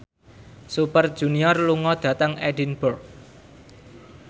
Super Junior lunga dhateng Edinburgh